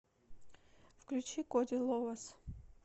включи коди ловас